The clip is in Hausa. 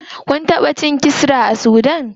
Kun taɓa cin kisra a sudan?